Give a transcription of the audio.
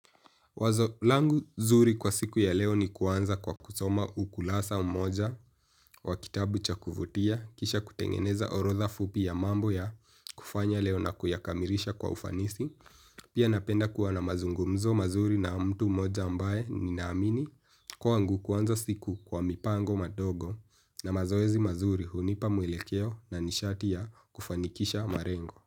Wazo langu nzuri kwa siku ya leo ni kuanza kwa kusoma ukurasa mmoja wa kitabu cha kuvutia kisha kutengeneza orotha fupi ya mambo ya kufanya leo na kuyakamilisha kwa ufanisi. Pia napenda kuwa na mazungumzo mazuri na mtu mmoja ambaye ni naamini kwangu kuanza siku kwa mipango madongo na mazowezi mazuri hunipa mwelekeo na nishati ya kufanikisha malengo.